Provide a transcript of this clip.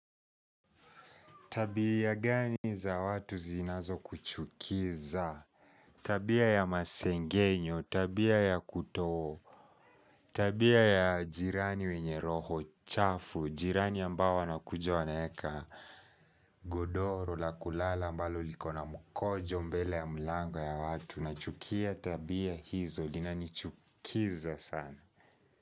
Tabia gani za watu zinazo kuchukiza? Tabia ya masengenyo, tabia ya kuto, tabia ya jirani wenye roho chafu, jirani ambao wanakuja wanaeka godoro, la kulala, ambalo likona mkojo mbele ya mlango ya watu. Nachukia tabia hizo, inanichukiza sana.